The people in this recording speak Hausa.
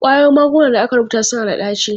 Ƙwayoyin magungunan da aka rubuta suna da ɗaci.